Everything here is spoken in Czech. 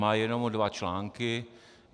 Má jenom dva články.